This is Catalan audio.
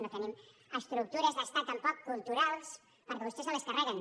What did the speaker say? no tenim estructures d’estat tampoc culturals perquè vostès se les carreguen